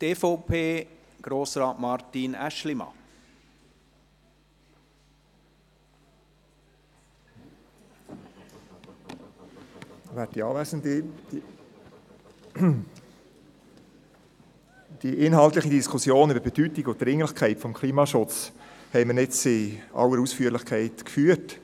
Die inhaltliche Diskussion über die Bedeutung und Dringlichkeit des Klimaschutzes haben wir jetzt in aller Ausführlichkeit geführt.